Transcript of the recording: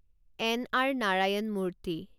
N R. Narayana মূৰ্তি